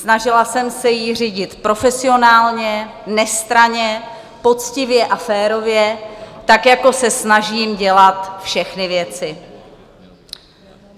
Snažila jsem se ji řídit profesionálně, nestranně, poctivě a férově tak, jako se snažím dělat všechny věci.